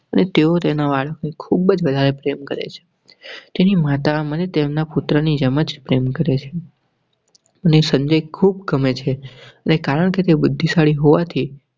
અને તેઓ તેના વાળ ખૂબ જ પ્રેમ કરેં છે. તેની માતા મને તેમના પુત્રની જેમ જ પ્રેમ કરેં. મને ખૂબ ગમે છે, કારણ કે તે બુધ્ધીશાળી હોવા થી